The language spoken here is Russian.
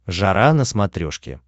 жара на смотрешке